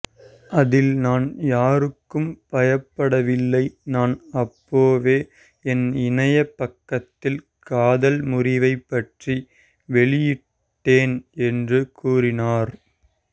அதில் நான் யாருக்கும் பயப்படவில்லை நான் அப்பவே என் இணைய பக்கத்தில் காதல் முறிவை பற்றி வெளியிட்டேன் என்று கூறினார்